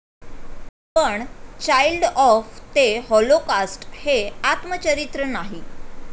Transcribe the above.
पण 'child of the Holocaust' हे आत्मचरित्र नाही.